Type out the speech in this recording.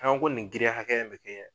An ko nin giriya hakɛya be kɛ